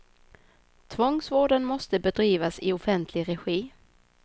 Tvångsvården måste bedrivas i offentlig regi.